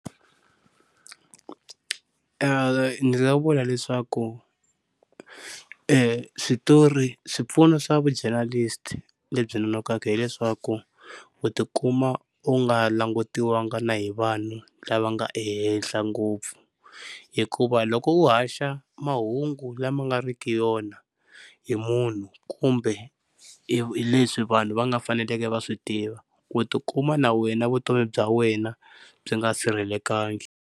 Ni nga vula leswaku switori swipfuno swa vu-jornalist-i lebyi nonoka hileswaku u tikuma u nga langutiwangiki na hi vanhu lava nga ehenhla ngopfu, hikuva loko u haxa mahungu lama nga riki wona hi munhu kumbe hi leswi vanhu va nga faneleke va swi tiva u tikuma na wena vutomi bya wena byi nga sirhelelekangiki.